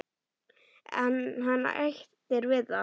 En hann hættir við það.